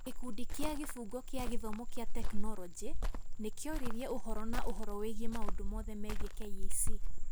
Gĩkundi kĩa Kĩbungo kĩa gĩthomo kĩa tekinoronjĩ nĩ kĩoririe ũhoro na ũhoro wĩgiĩ maũndũ mothe megiĩ KEC -